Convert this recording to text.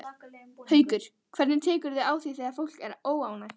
Haukur: Hvernig tekurðu á því þegar fólk er óánægt?